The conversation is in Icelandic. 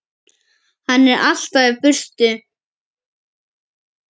Hann er alltaf í burtu.